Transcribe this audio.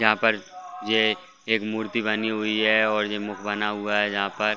यहाँ पर ये एक ये मूर्ति बनी हुई है और ये मुख बना हुआ है जहां पर--